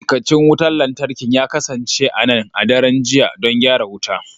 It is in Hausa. Ma'aikacin wutar lantarki ya kasance a nan a daren jiya don gyara wuta.